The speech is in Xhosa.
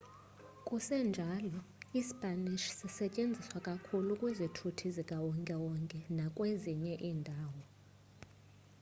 sekunjalo ispanish sisetyenziswa kakhulu kwizithuthi zikawonke-wonke nakwezinye iindawo